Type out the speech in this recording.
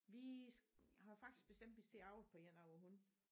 Vi har faktisk bestemt vi skal til at avle på en af vore hunde